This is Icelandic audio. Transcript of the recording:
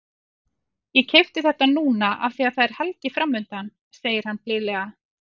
Ég keypti þetta núna af því að það er helgi framundan, segir hann blíðlega.